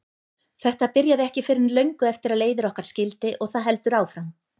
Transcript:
Þetta byrjaði ekki fyrr en löngu eftir að leiðir okkar skildi og það heldur áfram.